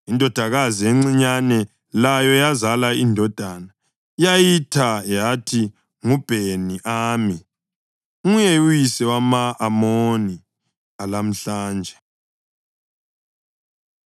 Indodakazi encinyane layo yazala indodana, yayitha yathi nguBheni-Ami; nguye uyise wama-Amoni alamuhla nje.